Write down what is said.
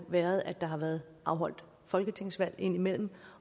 været at der har været afholdt folketingsvalg ind imellem